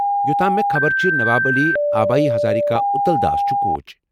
یو٘تام مےٚ خبرچھِ ، نواب علی ، ابایی ہزاریکا ، اُتل داس چُھ کوچ ۔